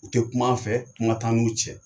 U tɛ kum'an fɛ, kuma t'an n'u cɛ.